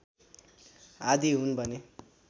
आदि हुन भने